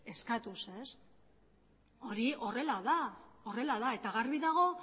eskatuz hori horrela da eta garbi dago